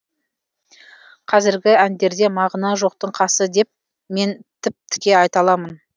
қазіргі әндерде мағына жоқтың қасы деп мен тіп тіке айта аламын